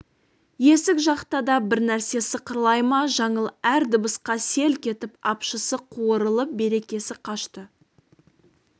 есік жақта да бір нәрсе сықырлай ма жаңыл әр дыбысқа селк етіп апшысы қуырылып берекесі қашты